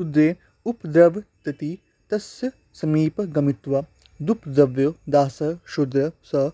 शूद्रेण उपद्रवतीति तत्समीपगामित्वादुपद्रवो दासः शूद्रः स